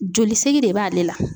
Jolisɛgi de b'ale la.